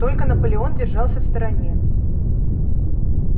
только наполеон держался в стороне